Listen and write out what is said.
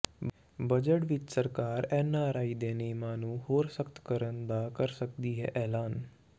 budget ਵਿਚ ਸਰਕਾਰ NRI ਦੇ ਨਿਯਮਾਂ ਨੂੰ ਹੋਰ ਸਖ਼ਤ ਕਰਨ ਦਾ ਕਰ ਸਕਦੀ ਹੈ ਐਲਾਨ